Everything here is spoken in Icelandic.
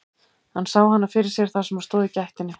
Hann sá hana fyrir sér þar sem hún stóð í gættinni.